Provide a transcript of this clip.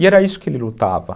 E era isso que ele lutava.